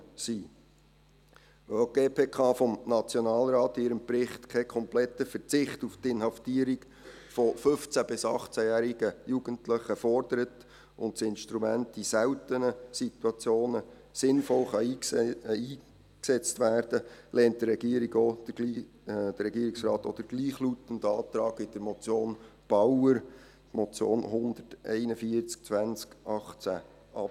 Weil auch die GPK-N in ihrem Bericht keinen kompletten Verzicht auf die Inhaftierung von 15- bis 18jährigen Jugendlichen fordert und das Instrument in seltenen Situationen sinnvoll eingesetzt werden kann, lehnt der Regierungsrat auch den gleichlautenden Antrag mit der Motion Bauer ab.